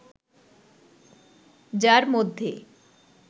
যার মধ্যে